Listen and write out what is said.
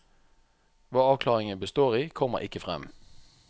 Hva avklaringen består i, kommer ikke frem.